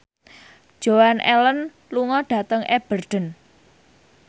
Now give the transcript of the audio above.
Joan Allen lunga dhateng Aberdeen